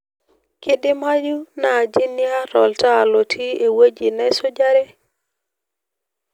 kidimayu naaji niarr oltaa lotiii ewueji naisujare